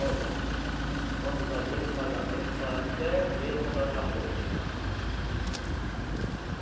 Olhe dona, quando dá dia de pagamento faz até medo andar na rua aí.